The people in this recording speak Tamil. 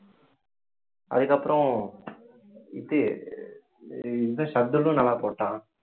அதுக்கப்புறம் இது இந்த நல்லா போட்டான்